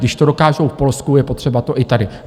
Když to dokážou v Polsku, je to třeba i tady.